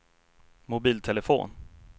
mobiltelefon